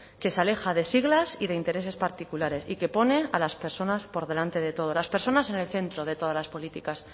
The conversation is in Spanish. que se aleja de siglas y de intereses particulares y que pone a las personas por delante de todo las personas en el centro de todas las políticas